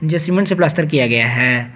जो सीमेंट से प्लास्टर किया गया है।